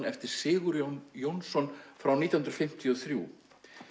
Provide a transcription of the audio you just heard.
eftir Sigurjón Jónsson frá nítján hundruð fimmtíu og þrjú